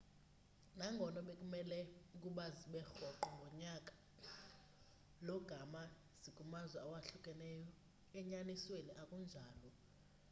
nangono bekumele ukuba zibe rhoqo ngonyaka lo gama nje zikumazwe awahlukahlukeneyo enyanisweni akunjalo